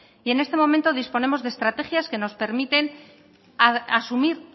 y en este momento disponemos de estrategias que nos permiten asumir